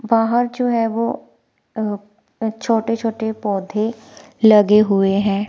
बाहर जो है वो अह अह छोटे छोटे पौधे लगे हुए हैं।